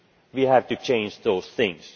we have to change those things.